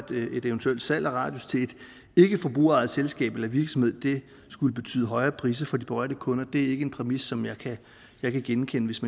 et eventuelt salg af radius til et ikkeforbrugerejet selskab eller virksomhed skulle betyde højere priser for de berørte kunder er ikke en præmis som jeg jeg kan genkende hvis